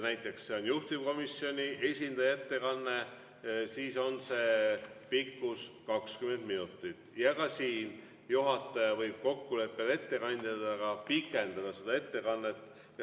Kui see on juhtivkomisjoni esindaja ettekanne, siis on pikkus kuni 20 minutit ja siin võib juhataja kokkuleppel ettekandjaga pikendada seda ettekannet.